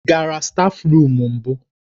Ị gara stáfruum mbụ?